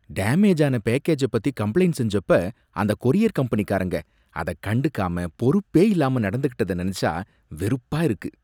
Damage ஆன பேக்கேஜ பத்தி கம்பளைண்ட் செஞ்சப்ப அந்தக் கொரியர் கம்பெனிக்காரங்க அத கண்டுக்காம, பொறுப்பே இல்லாம நடந்துக்கிட்டத நினைச்சா வெறுப்பா இருக்கு.